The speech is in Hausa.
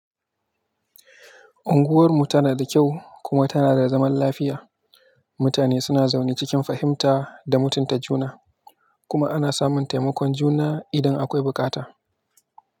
Unguwar mu tana da kyau kuma tana da zaman lafiya. Mutane suna zaune cikin fahimta da mutunta juna, kuma ana samun taimakon juna idan akwai bukata.